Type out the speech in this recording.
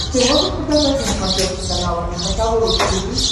ты можешь показать на смотрешке канал эн эйч кей волд ти ви